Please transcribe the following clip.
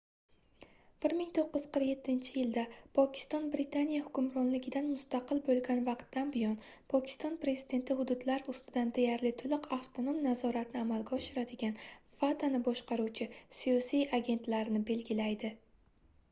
1947-yilda pokiston britaniya hukmronligidan mustaqil bo'lgan vaqtdan buyon pokiston prezidenti hududlar ustidan deyarli to'liq avtonom nazoratni amalga oshiradigan fatani boshqaruvchi siyosiy agentlar"ni belgilaydi